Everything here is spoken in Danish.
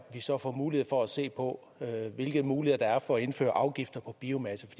vi så får mulighed for at se på hvilke muligheder der er for at indføre afgifter på biomasse